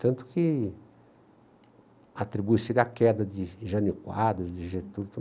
Tanto que atribui-se-lhe a queda de Jane Quadros, de Getúlio.